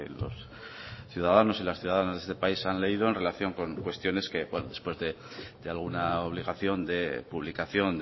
los ciudadanos y las ciudadanas de este país han leído en relación con cuestiones que después de alguna obligación de publicación